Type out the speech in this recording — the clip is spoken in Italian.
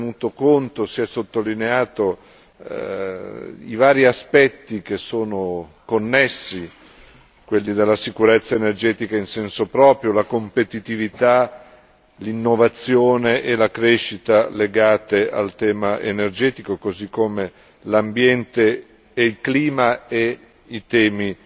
Si è tenuto conto, si è sottolineato i vari aspetti che sono connessi, quelli della sicurezza energetica in senso proprio, la competitività, l'innovazione e la crescita legate al tema energetico, così come l'ambiente e il clima e i temi